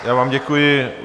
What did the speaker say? Já vám děkuji.